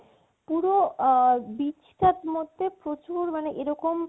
পুরো আ~ beach টার মধ্যে প্রচুর মানে এরকম